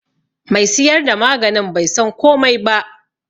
Me siyar da maganin bai san komai ba.